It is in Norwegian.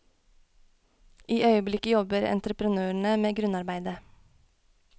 I øyeblikket jobber entreprenørene med grunnarbeidet.